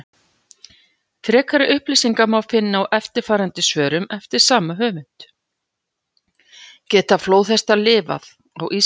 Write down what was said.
Frekari upplýsingar má finna í eftirfarandi svörum eftir sama höfund: Geta flóðhestar lifað á Íslandi?